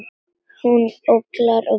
Hún ólgar og bullar.